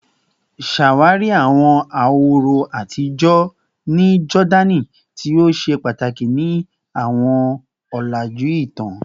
Ṣawari awọn ahoro atijọ ni Jordani ti o ṣe pataki ni awọn ọlaju itan